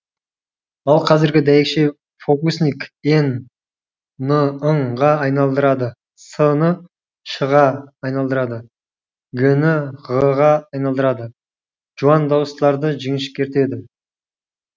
ал қәзіргі дәйекше фокусник н ны ң ға айналдырады с ны ш ға айналдырады г ны ғ ға айналдырады жуан дауыстыларды жіңішкертеді